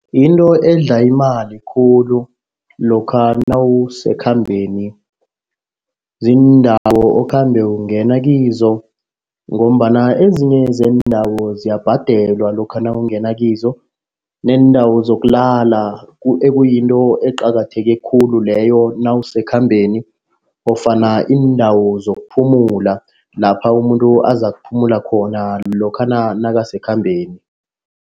Yinto edla imali khulu lokha nawusekhambeni, ziindawo okhambe ukungena kizo ngombana ezinye zendawo ziyabhadelwa lokha nawungena kizo. Neendawo zokulala ekuyinto eqakatheke khulu leyo nawuse ekhambeni ofana indawo zokuphumula lapha umuntu azakuphumula khona lokhana nakasekhambeni.